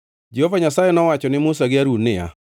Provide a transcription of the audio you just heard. Jehova Nyasaye nowacho ne Musa gi Harun niya,